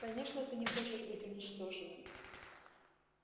конечно ты не хочешь быть уничтоженным